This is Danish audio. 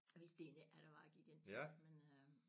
Vidste egentlig ikke hvad det var jeg gik ind til men øh